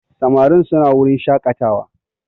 Samarin suna wurin shakatawa